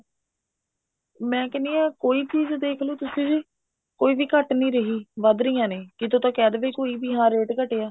ਮੈਂ ਕਹਿਣੀ ਹਾਂ ਕੋਈ ਚੀਜ਼ ਦੇਖਲੋ ਤੁਸੀਂ ਵੀ ਕੋਈ ਵੀ ਘਟ ਨੀ ਰਹੀ ਵਧ ਰਹੀਆਂ ਨੇ ਕਿਤੋਂ ਤਾਂ ਕਿਹ ਦਵੇ ਕੋਈ ਵੀ ਰੇਟ ਘਟਿਆ